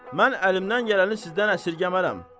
Mən əlimdən gələni sizdən əsirgəmərəm.